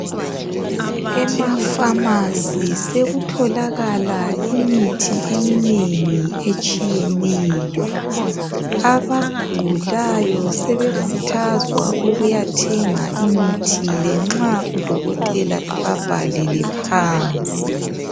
Emafamasi sekutholakala imithi eminengi etshiyeneyo. Abagulayo besekhuthazwa ukuyathenga imithi le nxa udokotela ebabhalele phansi.